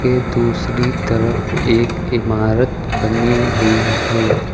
ये दूसरी तरफ एक इमारत बनी हुई है।